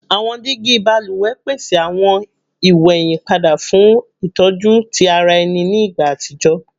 Awọn digi baluwẹ pese awọn iweyinpada fun itọju ti ara ẹni ni igba atijọ